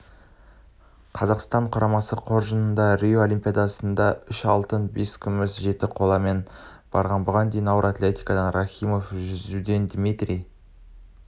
қазақстан құрамасы қоржынында рио олимпиадасындаүш алтын бескүміс жеті қоламедаль бар бұған дейін ауыр атлетикаданниджат рахимовпен жүзудендмитрий